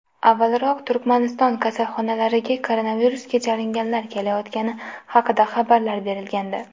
Avvalroq Turkmaniston kasalxonalariga koronavirusga chalinganlar kelayotgani haqida xabarlar berilgandi .